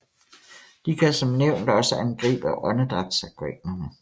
De kan som nævnt også angribe åndedrætsorganerne